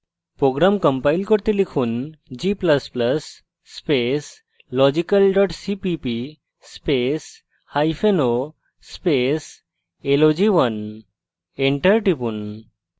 program compile করতে লিখুন g ++ space logical dot cpp spaceo space log1 enter টিপুন